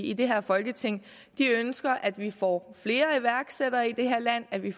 i det her folketing ønsker at vi får flere iværksættere i det her land at vi